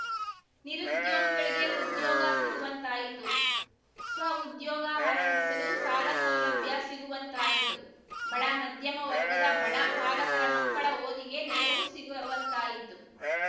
ನಿರುದ್ಯೋಗಿಗಳಿಗೆ ಉದ್ಯೋಗ ಸಿಗುವಂತಾಯಿತು ಸ್ವಉದ್ಯೋಗ ಆರಂಭಿಸಲು ಸಾಲ ಸೌಲಭ್ಯ ಸಿಗುವಂತಾಯಿತು ಬಡ ಮಧ್ಯಮ ವರ್ಗದ ಬಡ ಪಾಲಕರ ಮಕ್ಕಳ ಓದಿಗೆ ನೆರವು ಸಿಗುವಂತಾಯಿತು